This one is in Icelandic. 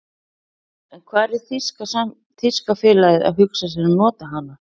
En hvar er þýska félagið að hugsa sér að nota hana?